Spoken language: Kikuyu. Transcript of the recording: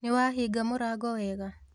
Nĩwahinga mũrango wega?